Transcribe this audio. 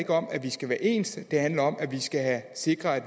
om at vi skal være ens det handler om at vi skal sikre at